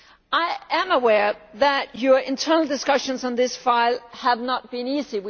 I am aware that your internal discussions on this file have not been easy.